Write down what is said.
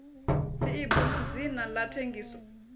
ḽeibu ḽu dzina ḽa thengiso